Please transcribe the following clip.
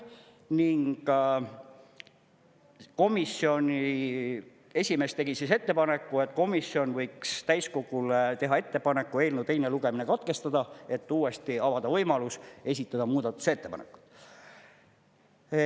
Ning komisjoni esimees tegi ettepaneku, et komisjon võiks täiskogule teha ettepaneku eelnõu teine lugemine katkestada, et uuesti avada võimalus esitada muudatusettepanekuid.